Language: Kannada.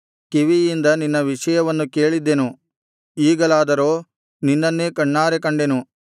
ಕಿವಿಯಿಂದ ನಿನ್ನ ವಿಷಯವನ್ನು ಕೇಳಿದ್ದೆನು ಈಗಲಾದರೋ ನಿನ್ನನ್ನೇ ಕಣ್ಣಾರೆ ಕಂಡೆನು